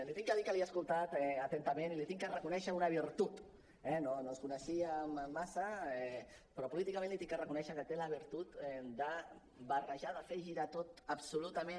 li he de dir que l’he escoltat atentament i li he de reconèixer una virtut eh no ens coneixíem massa però políticament li he de reconèixer que té la virtut de barrejar de fer ho girar tot absolutament